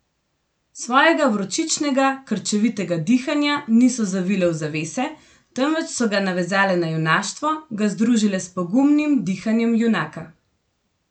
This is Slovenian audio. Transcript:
Svojega vročičnega, krčevitega dihanja niso zavile v zavese, temveč so ga navezale na junaštvo, ga združile s pogumnim dihanjem junaka.